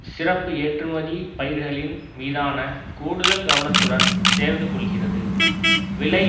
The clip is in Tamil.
சிறப்பு ஏற்றுமதி பயிர்களின் மீதான கூடுதல் கவனத்துடன் சேர்ந்து கொள்கிறது விலை